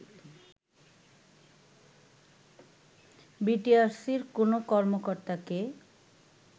বিটিআরসির কোনো কর্মকর্তাকে